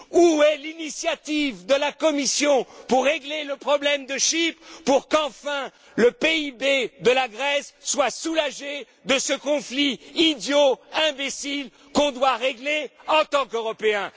Où est l'initiative de la Commission pour régler le problème de Chypre, pour qu'enfin le PIB de la Grèce soit soulagé de ce conflit idiot, imbécile, qu'on doit régler en tant qu'Européens?